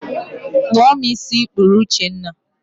Kpụọ m ísí ị kpụrụ Uchenna